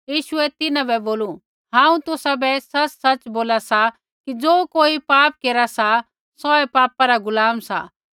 यीशुऐ तिन्हां बै बोलू हांऊँ तुसाबै सच़सच़ बोला सा कि ज़ो कोई पाप केरा सा सौऐ पापा रा गुलाम सा